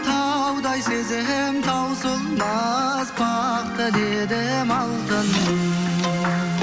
таудай сезім таусылмас бақ тіледім алтыным